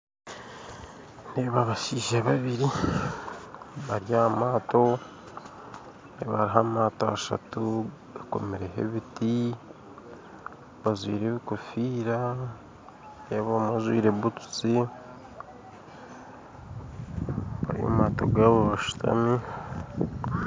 Nindeeba abashaija babiri bari aha maato ndeebaho maato ashatu gakomereho ebiti bajwaire ebikofiira nindeeba omwe ajwaire butusi bari mu maato gaabo bashutami